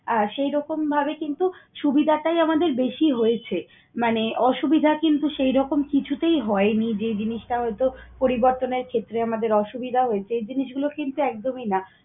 আহ সেইরকমভাবে কিন্তু সুবিধাটাই আমাদের বেশি হয়েছে। মানে অসুবিধা কিন্তু সেইরকম কিছুতেই হয়নি যে জিনিসটা হয়তো পরিবর্তনের ক্ষেত্রে আমাদের অসুবিধা হয়েছে, এই জিনিসগুলো কিন্তু একদমই না।